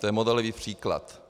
To je modelový příklad.